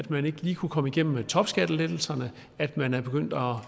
man ikke lige kunne komme igennem med topskattelettelserne at man er begyndt at